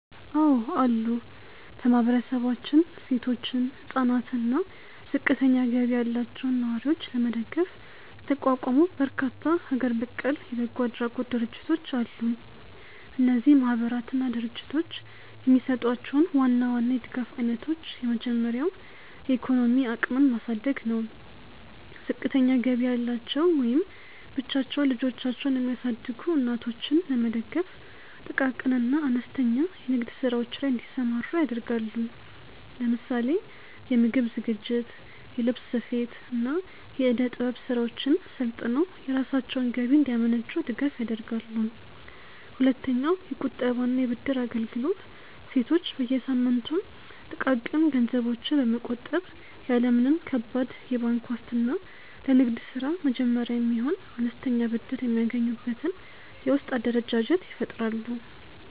አዎ አሉ። በማህበረሰባችን ሴቶችን፣ ህፃናትን አና እና ዝቅተኛ ገቢ ያላቸውን ነዋሪዎች ለመደገፍ የተቋቋሙ በርካታ ሀገር በቀል የበጎ አድራጎት ድርጅቶች አሉ። እነዚህ ማህበራትና ድርጅቶች የሚሰጧቸውን ዋና ዋና የድጋፍ አይነቶች የመጀመሪያው የኢኮኖሚ አቅምን ማሳደግ ነው። ዝቅተኛ ገቢ ያላቸው ወይም ብቻቸውን ልጆቻቸውን የሚያሳድጉ እናቶችን ለመደገፍ ጥቃቅን እና አነስተኛ የንግድ ስራዎች ላይ እንዲሰማሩ ያደርጋሉ። ለምሳሌ የምግብ ዝግጅት፣ የልብስ ስፌት፣ እና የእደ-ጥበብ ስራዎችን ሰልጥነው የራሳቸውን ገቢ እንዲያመነጩ ድጋፍ ያደርጋሉ። ሁለተኛውየቁጠባ እና የብድር አገልግሎት ሴቶች በየሳምንቱ ጥቃቅን ገንዘቦችን በመቆጠብ፣ ያለ ምንም ከባድ የባንክ ዋስትና ለንግድ ስራ መጀመሪያ የሚሆን አነስተኛ ብድር የሚያገኙበትን የውስጥ አደረጃጀት ይፈጥራሉ።